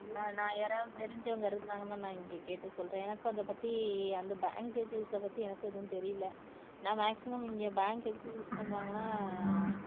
ஆஹ் நான் யாராவது தெரிஞ்சவங்க இருந்தாங்கன்னா நான் இங்க கேட்டு சொல்றேன் எனக்கு அத பத்தி அந்த bank details அ பத்தி எனக்கும் எதுவும் தெரியல நான் maximum இங்க bank எதுக்கு use பண்ணுவாங்கனா ஆஹ்